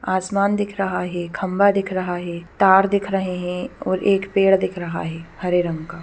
आसमान दिख रहा है खंभा दिख रहा है तार दिख रहे है और एक पेड़ दिख रहा है हरे रंग का--